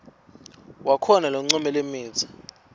wakho loncome lemitsi